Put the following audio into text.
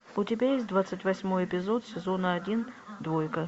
у тебя есть двадцать восьмой эпизод сезона один двойка